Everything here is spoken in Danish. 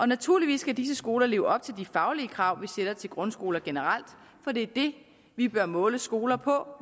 naturligvis skal disse skoler leve op til de faglige krav vi sætter til grundskoler generelt for det er det vi bør måle skoler på